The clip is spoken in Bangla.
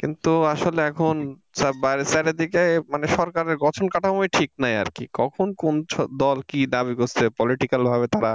কিন্তু আসলে এখন সব বাইরে চারদিকে মানে সরকারের গঠন কাঠামো ঠিক নাই আরকি কখন কোন দল কি দাবি করছে Political ভাবে তারা